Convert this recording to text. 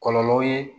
Kɔlɔlɔw ye